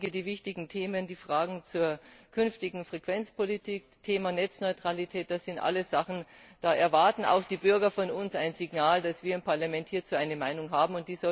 Aber bei den wichtigen Themen, bei den Fragen zur künftigen Frequenzpolitik, Thema Netzneutralität, das sind alles Sachen, da erwarten auch die Bürger von uns ein Signal, dass wir im Parlament hierzu eine Meinung haben.